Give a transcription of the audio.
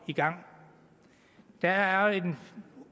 i gang der er